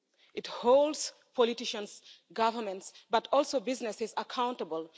It holds politicians, governments, but also businesses, accountable.